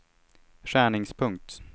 skärningspunkt